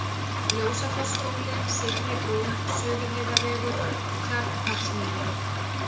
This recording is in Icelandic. Ljósafossskóli, Syðri-Brú, Suðurheiðarvegur, Tjarnholtsmýri